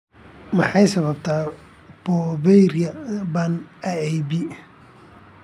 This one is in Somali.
Maxaa sababa porphyria ba'an (AIP)?